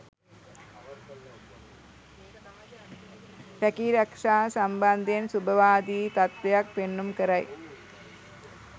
රැකීරක්ෂා සම්බන්ධයෙන් ශුභවාදී තත්ත්වයක් පෙන්නුම් කරයි.